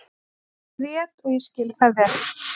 Hann grét og ég skil það vel.